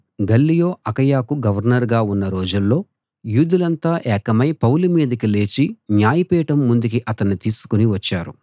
Galileo అకయకు గవర్నరుగా ఉన్న రోజుల్లో యూదులంతా ఏకమై పౌలు మీదికి లేచి న్యాయపీఠం ముందుకి అతణ్ణి తీసుకుని వచ్చారు